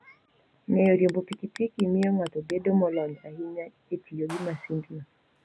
Ng'eyo riembo pikipiki miyo ng'ato bedo molony ahinya e tiyo gi masindno.